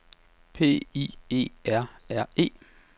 P I E R R E